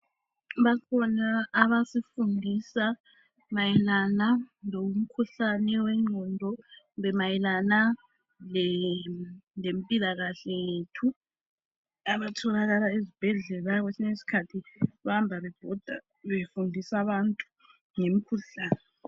Bakhona abasifundisa mayelana lomkhuhlane wengqondo kumbe mayelana lempilakahle yethu abatholakala esibhedlela kwesinye isikhathi bayahamba bebhoda befundisa abantu ngemikhuhlane.